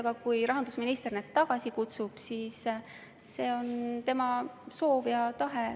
Aga kui rahandusminister need tagasi kutsub, siis see on tema soov ja tahe.